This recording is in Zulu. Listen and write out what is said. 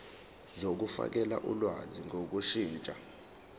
zokufakela ulwazi ngokushintsha